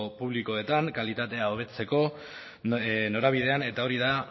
publikoetan kalitatea hobetzeko norabidean eta hori da